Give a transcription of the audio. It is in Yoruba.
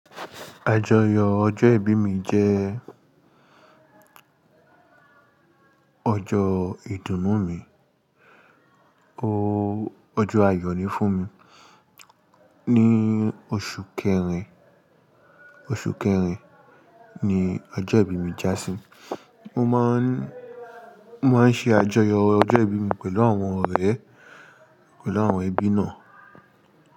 Àjọyọ̀ ọjọ́ ìbí mi jẹ́ ọjọ́ ìdùnnú mi, ooo ọjọ́ ayọ̀ ni fún mi. Ni oṣù kẹrin, oṣù kẹrin ni ọjọ́ ìbí mi jásí mo maa n se ajoyo ojo ibi mi pelu awon ore, pelu awon ebi naa.